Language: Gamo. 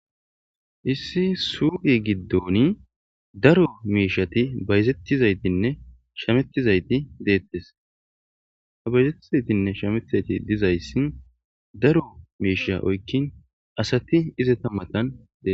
Issi suu'i giddoni daro miishati bayzettizaytinne shamettizayti deettes ha bayzettizaytinne shametizayti dizayssi daro miisha oykkin asati izeta matan dee